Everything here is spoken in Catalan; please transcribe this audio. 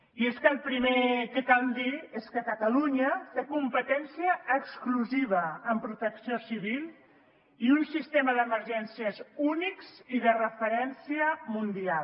i és que el primer que cal dir és que catalunya té competència exclusiva en protecció civil i un sistema d’emergències únic i de referència mundial